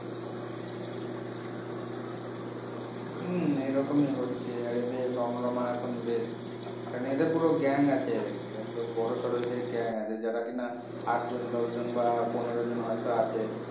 হম এইরকমই হচ্ছে আর এদের রমরমা এখন বেশ কারণ এদের পুরো gang আছে একদম বড়োসড়ো এদের gang আছে যারা কিনা আট জন দশ জন বা পনেরো জন হয়তো আছে